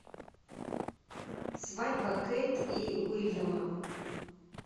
свадьба кейт и уильяма